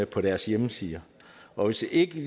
på deres hjemmeside og hvis ikke